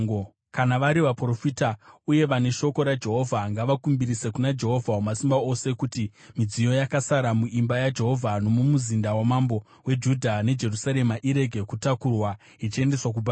Kana vari vaprofita uye vane shoko raJehovha ngavakumbirise kuna Jehovha, Wamasimba Ose kuti midziyo yakasara muimba yaJehovha, nomumuzinda wamambo weJudha neJerusarema irege kutakurwa ichiendeswa kuBhabhironi.